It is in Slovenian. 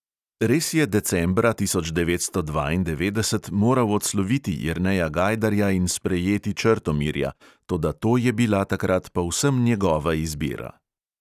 Res je decembra tisoč devetsto dvaindevetdeset moral odsloviti jerneja gajdarja in sprejeti črtomirja, toda to je bila takrat povsem njegova izbira.